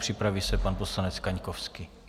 Připraví se pan poslanec Kaňkovský.